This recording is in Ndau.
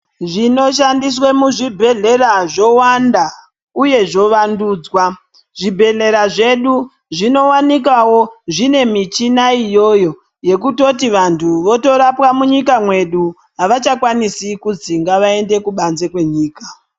Zvinoshandiswe muzvibhedhlera zvowanda uye zvovandudzwa. Zvibhedhlera zvedu zvinowanikawo zvine michina iyoyo yekutoti vantu votorapwa munyika mwedu, havachakwanisi kuzi ngavaende kubanze kwenyika.